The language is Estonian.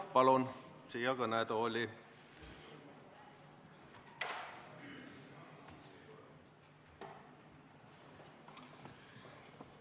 Palun siia kõnetooli!